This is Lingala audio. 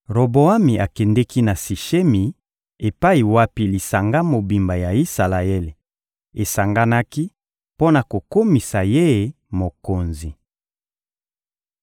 Roboami akendeki na Sishemi epai wapi lisanga mobimba ya Isalaele esanganaki mpo na kokomisa ye mokonzi.